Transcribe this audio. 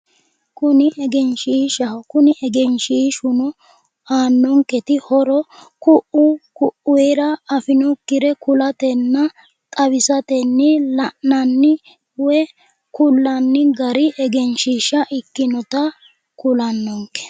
Kuni egenshiishaho kuni egenshiishuno aannonketi horo ku'u ku'uyira afinokkire kulatenna xawisatenni la'nanni woyi kullanni gari egenshiisha ikkinota kulannonke